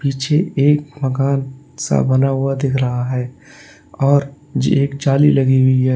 पीछे एक मकान सा बना हुआ दिख रहा है और जे एक एक जाली लगी हुई है।